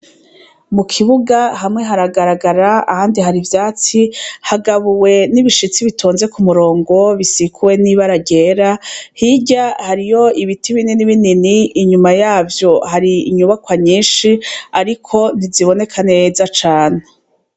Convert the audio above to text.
Mu kibuga hamwe haragaragara ahandi hari ivyatsi hagabuwe n'ibishitsi bitonze ku murongo bisikuwe n'ibara ryera hirya hariyo ibiti binini binini inyuma yavyo hari inyubakwa nyinshi ariko ntiziboneka neza cane.